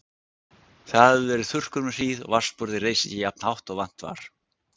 Það hafði verið þurrkur um hríð og vatnsborðið reis ekki jafnt hátt og vant var.